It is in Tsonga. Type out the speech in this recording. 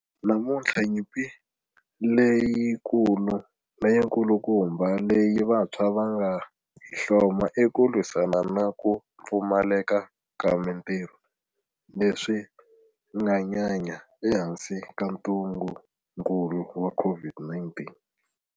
Namuntlha nyimpi leyikulu leyikulukumba leyi vantshwa va nga hi hloma i ku lwisana na ku pfumaleka ka mitirho, leswi nga nyanya ehansi ka ntungukulu wa COVID-19.